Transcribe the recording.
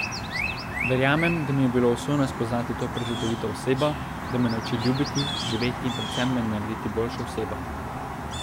Verjamem, da mi je bilo usojeno spoznati to prečudovito osebo, da me nauči ljubiti, živeti in predvsem me narediti boljšo osebo.